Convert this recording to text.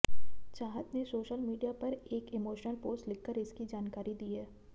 चाहत ने social media पर एक इमोशनल पोस्ट लिखकर इसकी जानकारी दी है